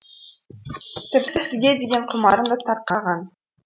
тіпті сізге деген құмарым да тарқаған